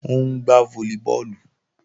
Ó ń gbá fólíbọọ̀lù